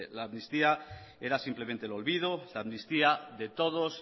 la amnistía era simplemente el olvido la amnistía de todos